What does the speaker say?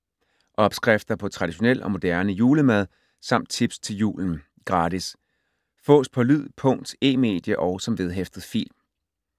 Opskrifter på traditionel og moderne julemad samt tips til julen. Gratis. Fås på lyd, punkt, e-medie og som vedhæftet fil